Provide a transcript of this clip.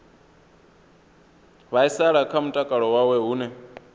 vhaisala kha mutakalo wawe hune